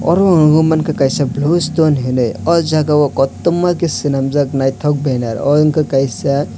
oro ang nogoi mangka kaisa blue stone hinui o jaga o kotorma ke selamjak naitok benner o wngkha kaisa.